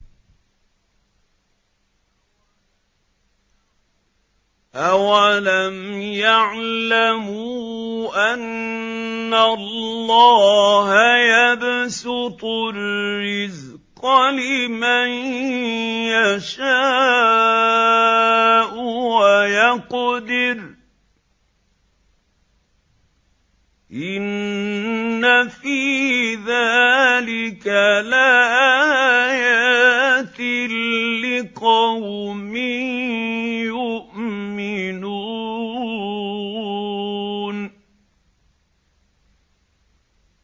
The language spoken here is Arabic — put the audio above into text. أَوَلَمْ يَعْلَمُوا أَنَّ اللَّهَ يَبْسُطُ الرِّزْقَ لِمَن يَشَاءُ وَيَقْدِرُ ۚ إِنَّ فِي ذَٰلِكَ لَآيَاتٍ لِّقَوْمٍ يُؤْمِنُونَ